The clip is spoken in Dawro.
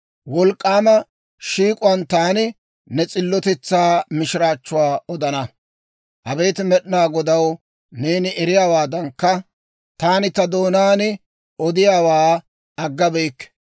Wolk'k'aama shiik'uwaan taani, «Ne s'illotetsaa» mishiraachchuwaa odana. Abeet Med'inaa Godaw, neeni eriyaawaadankka, taani ta doonaan odiyaawaa aggabeyikke.